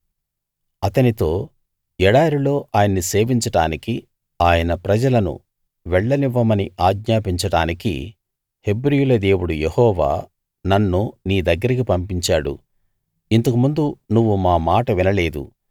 అతనితో ఎడారిలో ఆయన్ని సేవించడానికి ఆయన ప్రజలను వెళ్ళనివ్వమని ఆజ్ఞాపించడానికి హెబ్రీయుల దేవుడు యెహోవా నన్ను నీ దగ్గరికి పంపించాడు ఇంతకు ముందు నువ్వు మా మాట వినలేదు